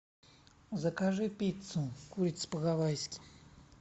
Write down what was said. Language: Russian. закажи пиццу курица по гавайски